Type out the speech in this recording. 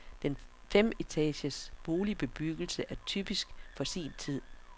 Den femetages boligbebyggelse er typisk for sin tid.